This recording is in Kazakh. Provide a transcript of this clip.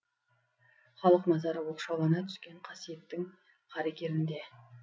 халық назары оқшаулана түскен қасиеттің қаракерінде